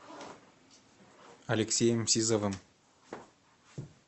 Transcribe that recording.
алексеем сизовым